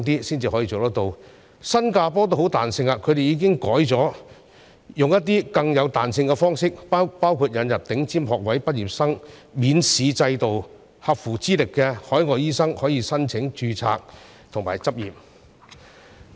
新加坡的做法同樣相當有彈性，他們已經改為使用更有彈性的方式，包括引入頂尖學位畢業生免試制度，讓合乎資歷的海外醫生可以申請註冊和執業等。